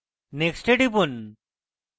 next এ টিপুন